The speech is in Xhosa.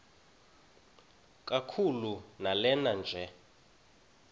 kakhulu lanela nje